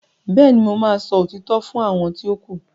béèni mọ má sọ òtítọ́ fún àwọn ti o ku.